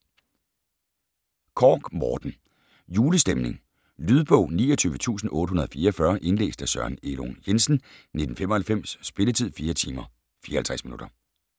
Korch, Morten: Julestemning Lydbog 29844 Indlæst af Søren Elung Jensen, 1995. Spilletid: 4 timer, 54 minutter.